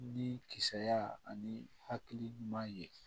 Ni kisaya ani hakili ɲuman ye